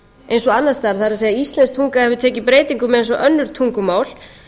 eins og annars staðar það er íslensk tunga hefur tekið breytingum eins og önnur tungumál